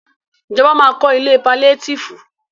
Ìjọba ma kọ́ ilé paliétífù.